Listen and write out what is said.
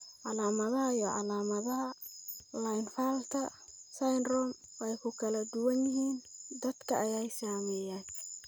Calaamadaha iyo calaamadaha Klinefelter syndrome (KS) way ku kala duwan yihiin dadka ay saameeyeen.